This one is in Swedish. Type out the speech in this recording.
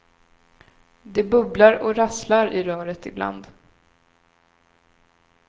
Det bubblar och rasslar i röret ibland.